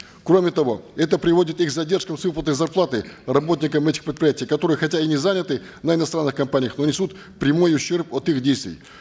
кроме того это приводит и к задержкам с выплатой зарплаты работникам этих предприятий которые хотя и не заняты на иностранных компаниях но несут прямой ущерб от их действий